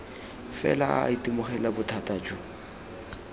fela a itemogela bothata jo